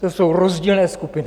To jsou rozdílné skupiny.